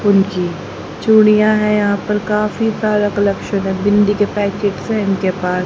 उनकी चूड़ियां हैं यहां पर काफी सारा कलेक्शन है बिंदी के पैकेट्स हैं इनके पास।